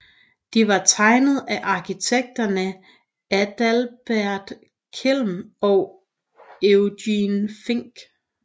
De var tegnet af arkitekterne Adalbert Kelm og Eugen Fink